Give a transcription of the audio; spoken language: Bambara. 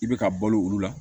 I bɛ ka balo olu la